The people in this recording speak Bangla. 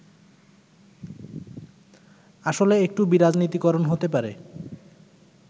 আসলে একটু বিরাজনীতিকরন হতে পারে”।